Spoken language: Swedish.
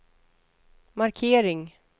markering